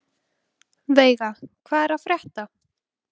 Veiga, hvað er að frétta?